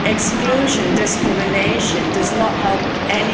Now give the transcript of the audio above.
Exclusion and discrimination does not help